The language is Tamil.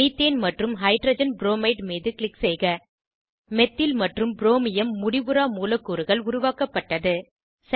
மீத்தேன் மற்றும் ஹைட்ரஜன் ப்ரோமைட் மீது க்ளிக் செய்க மெத்தில் மற்றும் ப்ரோமியம் முடிவுறா மூலக்கூறுகள் பிரீ ரேடிகல்ஸ் உருவாக்கப்பட்டது